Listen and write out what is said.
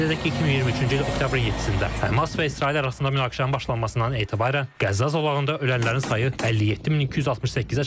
Qeyd edək ki, 2023-cü il oktyabrın 7-də Həmas və İsrail arasında münaqişənin başlanmasından etibarən Qəzza zolağında ölənlərin sayı 57268-ə çatıb.